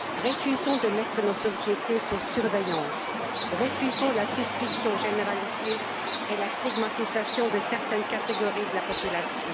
Refusons de mettre nos sociétés sous surveillance, refusons la suspicion généralisée et la stigmatisation de certaines catégories de la population.